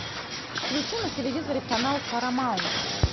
включи на телевизоре канал парамаунт